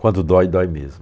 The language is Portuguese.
Quando dói, dói mesmo.